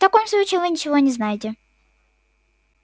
в таком случае вы ничего не знаете